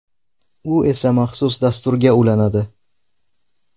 U esa maxsus dasturga ulanadi.